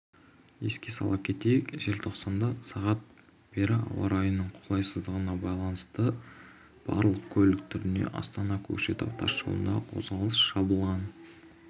еске сала кетейік желтоқсанда сағат бері ауа райының қолайсыздығына байланыстыбарлық көлік түріне астана-көкшетау тасжолындағы қозғалыс жабылған